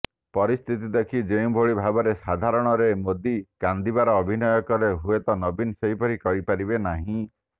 ପରିସ୍ଥିତି ଦେଖି ଯେଉଁଭଳି ଭାବରେ ସର୍ବସାଧାରଣରେ ମୋଦି କାନ୍ଦିବାର ଅଭିନୟ କଲେ ହୁଏତ ନବୀନ ସେପରି କରିପାରିବେ ନାହିଁ